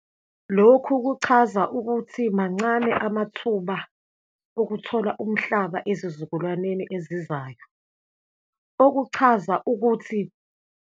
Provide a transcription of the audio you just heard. Lokhu kuchaza ukuthi mancane amathuba okuthola umhlaba ezizukulwaneni ezizayo. Okuchaza ukuthi.